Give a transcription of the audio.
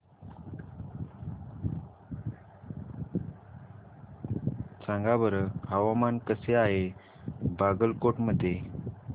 सांगा बरं हवामान कसे आहे बागलकोट मध्ये